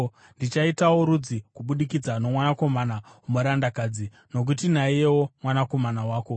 Ndichaitawo rudzi kubudikidza nomwanakomana womurandakadzi, nokuti naiyewo mwana wako.”